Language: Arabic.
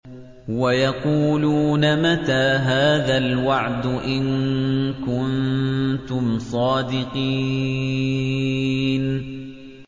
وَيَقُولُونَ مَتَىٰ هَٰذَا الْوَعْدُ إِن كُنتُمْ صَادِقِينَ